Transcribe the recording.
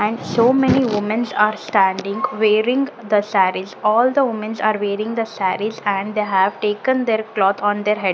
and so many womens are standing wearing the sarees all the womens are wearing the sarees and they have taken there cloth on their head.